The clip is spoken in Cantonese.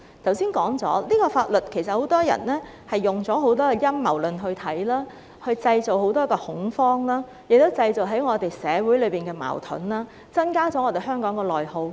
我剛才說過，很多人用陰謀論來看待這項法律，製造很大恐慌，亦造成社會矛盾，加劇香港的內耗。